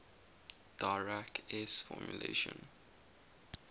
dirac s formulation